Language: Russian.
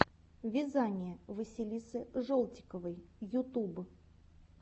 вязание василисы жолтиковой ютуб